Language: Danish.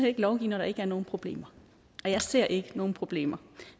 ikke lovgive når der ikke er nogen problemer og jeg ser ikke nogen problemer